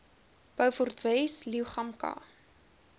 beaufort wes leeugamka